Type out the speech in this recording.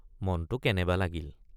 মনটো কেনেবা লাগিল।